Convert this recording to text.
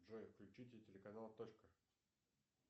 джой включите телеканал точка